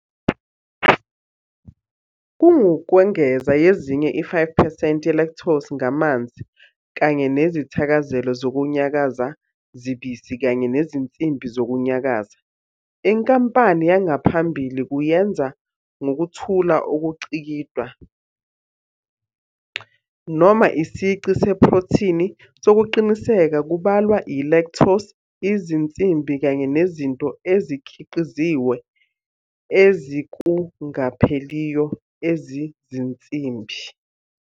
Kungukwengeza yezinye i-5 percent yelactose ngamanzi kanye nezithakazelo zokunyakaza zibisi kanye nezinsimbi zokunyakaza. Inkampani yangaphambili kuyenza ngokuthula ukucikidwa, noma isici seprothini sokuqinisekisa kubalwa yilactose, izinsimbi kanye nezinto ezikhiqizwe ezikungapheliyo ezizinsimbi.